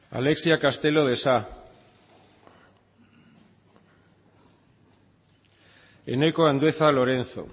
sartu da alexia castelo de sa sartu da eneko andueza lorenzo